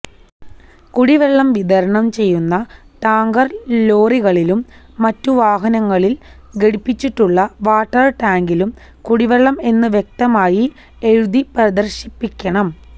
കുടിവെള്ളം വിതരണം ചെയ്യുന്ന ടാങ്കര് ലോറികളിലും മറ്റു വാഹനങ്ങളില് ഘടിപ്പിച്ചിട്ടുള്ള വാട്ടര് ടാങ്കിലും കുടിവെള്ളം എന്ന് വ്യക്തമായി എഴുതി പ്രദര്ശിപ്പിക്കണം